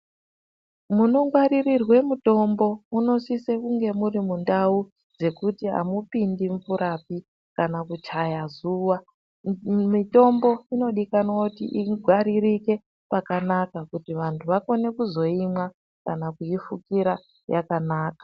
Munongwaririrwe mutombo, munosise kunge muri mundau dzekuti amupindi mvurapi kana kuchaya zuwa. Mitombo inodikanwa kuti ingwaririke pakanaka kuti vantu vakone kuzoyimwa, kana kuyifukira yakanaka.